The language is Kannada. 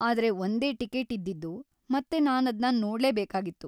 ಆದ್ರೆ ಒಂದೇ ಟಿಕೇಟಿದ್ದಿದ್ದು ಮತ್ತೆ ನಾನದ್ನ ನೋಡ್ಲೇಬೇಕಾಗಿತ್ತು.